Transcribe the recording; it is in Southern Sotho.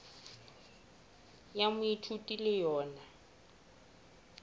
ya moithuti e le yona